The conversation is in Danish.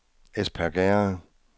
Espergærde